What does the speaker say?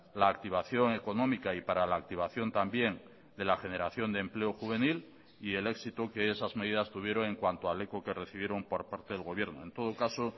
la activación económica y para la activación también de la generación de empleo juvenil y el éxito que esas medidas tuvieron en cuanto al eco que recibieron por parte del gobierno en todo caso